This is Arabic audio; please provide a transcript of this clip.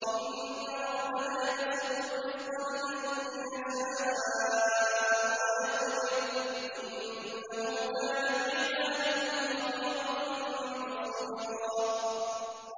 إِنَّ رَبَّكَ يَبْسُطُ الرِّزْقَ لِمَن يَشَاءُ وَيَقْدِرُ ۚ إِنَّهُ كَانَ بِعِبَادِهِ خَبِيرًا بَصِيرًا